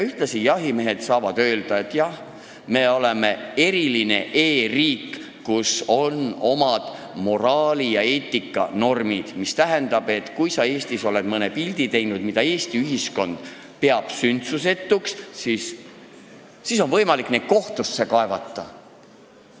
Ühtlasi saaksid jahimehed öelda, et jah, me oleme eriline e-riik, kus on omad moraali- ja eetikanormid, mis tähendab, et kui sa Eestis oled teinud mõne pildi, mida Eesti ühiskond peab sündsusetuks, siis on võimalik sind kohtusse kaevata.